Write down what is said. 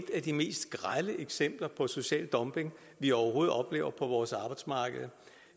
af de mest grelle eksempler på social dumping vi overhovedet oplever på vores arbejdsmarked